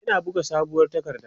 yana buga sabuwar takarda